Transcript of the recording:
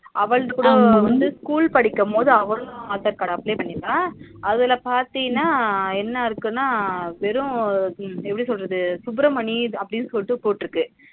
அவளது கூட வந்து school படிக்கும் போது அவளும் aadhar card apply பண்ணிருக அதுல பாத்தினா என்ன இருக்குனா வெறும் எப்பிடி சொல்றது சுப்ரமணி அப்டினு சொல்லிட்டு போட்டுஇருக்கு